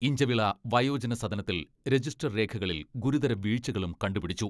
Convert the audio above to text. ഇഞ്ചവിള വയോജന സദനത്തിൽ രജിസ്റ്റർ രേഖകളിൽ ഗുരുതര വീഴ്ചകളും കണ്ടുപിടിച്ചു.